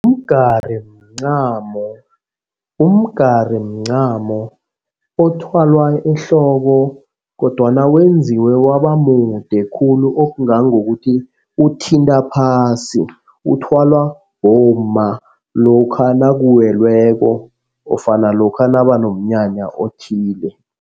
Umgari mncamo umgari mncamo othwalwa ehloko kodwana wenziwe waba mude khulu okungangokuthi uthinta phasi. uthwalwa bomma lokha nakuwelweko nofana lokha nabanomnyanya othile.